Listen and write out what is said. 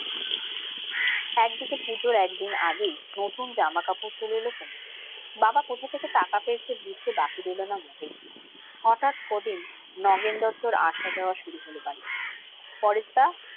একদিকে পূজোর একদিন আগেই নতুন জামা কাপড় চলে এলো তনুর। বাবা কোথা থেকে টাকা পেয়েছে বুঝতে বাকি রইলো না মোটেই। হঠাৎ কদিন নগেন দত্তর আসা যাওয়া শুরু হলো বাড়িতে। পরেশদা